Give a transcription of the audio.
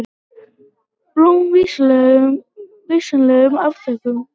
Blóm vinsamlegast afþökkuð.